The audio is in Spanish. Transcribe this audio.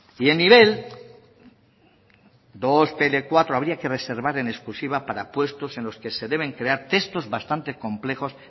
y en nivel dos pe ele cuatro habría que reservar en exclusiva para puestos en los que se deben crear textos bastante complejos